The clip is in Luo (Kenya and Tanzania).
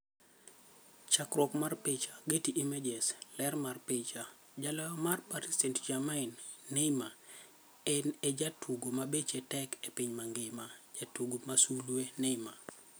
Chakruok mar picha, Getty Images. Ler mar picha, Jaloyo mar Paris St-Germain Neymar, en e jatugo mabeche tek e piny mangima. Jatugo masulwe: Neymar.